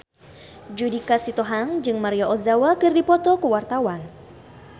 Judika Sitohang jeung Maria Ozawa keur dipoto ku wartawan